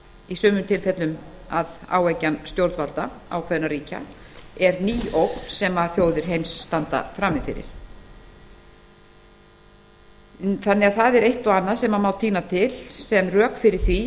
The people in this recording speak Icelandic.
í sumum tilfellum að áeggjan stjórnvalda ákveðinna ríkja er ný ógn sem þjóðir heims standa frammi fyrir það er því eitt og annað sem tína má til sem rök fyrir því